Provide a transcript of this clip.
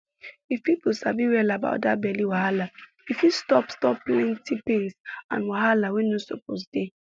if people sabi well about that belly wahala e fit stop stop plenty pain and wahala wey no suppose dey